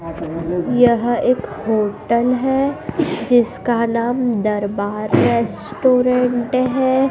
यहां एक होटल है जिसका नाम दरबार रेस्टोरेंट है।